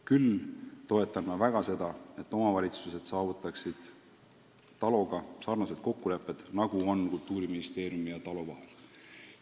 Küll toetan ma väga seda, et omavalitsused saavutaksid TALO-ga sarnased kokkulepped, nagu on Kultuuriministeeriumi ja TALO vahel.